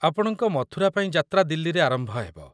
ଆପଣଙ୍କ ମଥୁରାପାଇଁ ଯାତ୍ରା ଦିଲ୍ଲୀରେ ଆରମ୍ଭ ହେବ।